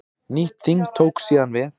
Nýtt þing tók síðan við.